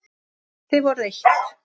Þið voruð eitt.